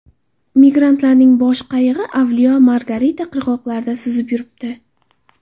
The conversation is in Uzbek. Migrantlarning bo‘sh qayig‘i Avliyo Margarita qirg‘oqlarida suzib yuribdi.